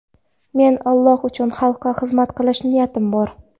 Men Alloh uchun xalqqa xizmat qilish niyatim bor.